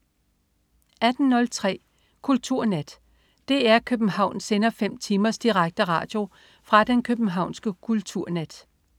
18.03 Kulturnat. DR København sender fem timers direkte radio fra den københavnske kulturnat